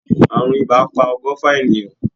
Àrùn ibà pa ọgọ́fa ènìyàn.